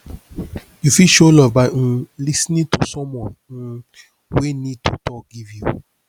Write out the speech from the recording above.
you fit show love by um lis ten ing to someone um wey need to talk give you